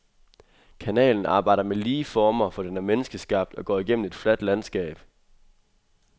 Kanalen arbejder med lige former, for den er menneskeskabt og går igennem et fladt landskab.